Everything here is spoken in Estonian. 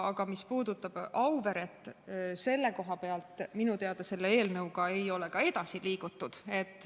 Aga mis puudutab Auveret, siis selle koha pealt minu teada selle eelnõuga ei ole edasi liigutud.